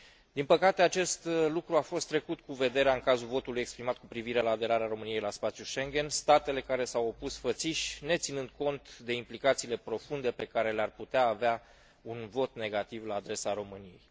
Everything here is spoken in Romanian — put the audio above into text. Din păcate, acest lucru a fost trecut cu vederea în cazul votului exprimat cu privire la aderare României la spațiul Schengen, statele care s au opus fățiș neținând cont de implicațiile profunde pe care le ar putea avea un vot negativ la adresa României.